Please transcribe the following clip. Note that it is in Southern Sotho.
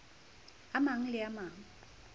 a mang le a mang